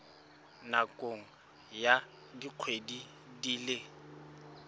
nakong ya dikgwedi di le